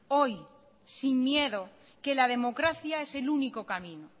hoy sin miedo que la democracia es el único camino